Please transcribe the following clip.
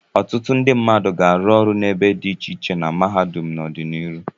Ọtụtụ ndị mmadụ ga-arụ ọrụ n'ebe dị iche iche na mahadum n'ọdịnihu.